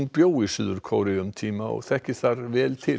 bjó í Suður Kóreu um tíma og þekkir þar vel til